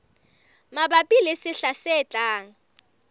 mabapi le sehla se tlang